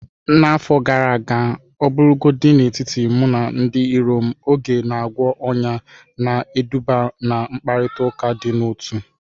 N'afọ gara aga, ọbụlagodi n'etiti mụ na ndị iro m mbụ, oge na-agwọ ọnyá, na-eduga ná mkparịta ụka dị n'otu.